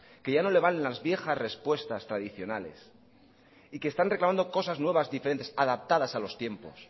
que ya no le valen las viejas respuestas tradicionales y que están reclamando cosas nuevas diferentes adaptadas a los tiempos